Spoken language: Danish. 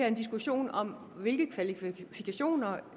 en diskussion om hvilke kvalifikationer